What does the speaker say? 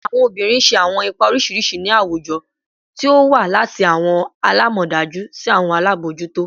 Awọn obinrin ṣe awọn ipa oriṣiriṣi ni awujọ, ti o wa lati awọn alamọdaju si awọn alabojuto